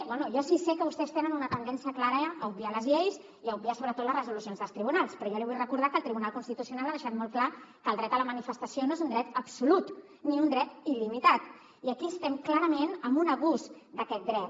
bé jo sí sé que vostès tenen una tendència clara a obviar les lleis i a obviar sobretot les resolucions dels tribunals però jo li vull recordar que el tribunal constitucional ha deixat molt clar que el dret a la manifestació no és un dret absolut ni un dret il·limitat i aquí estem clarament en un abús d’aquest dret